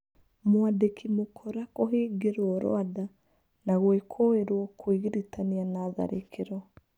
Mwandĩki Mũkora kũhingĩrwo Rwanda na gwĩkũĩrwo kwĩgirĩtania na tharĩkĩro.